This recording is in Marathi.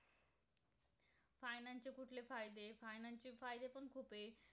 खूप आहे.